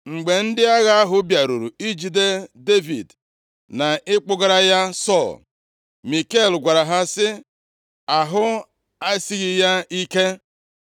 Mgbe ndị agha ahụ bịaruru ijide Devid na ịkpụgara ya Sọl, Mikal gwara ha sị, “Ahụ esighị ya ike.”